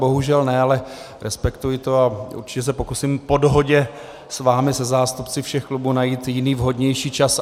Bohužel ne, ale respektuji to a určitě se pokusím po dohodě s vámi, se zástupci všech klubů, najít jiný, vhodnější čas.